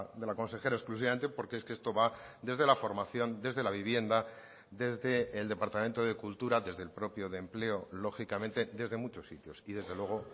de la consejera exclusivamente porque es que esto va desde la formación desde la vivienda desde el departamento de cultura desde el propio de empleo lógicamente desde muchos sitios y desde luego